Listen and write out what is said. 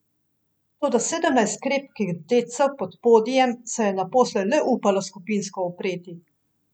Toda sedemnajst krepkih dedcev pod podijem se je naposled le upalo skupinsko upreti.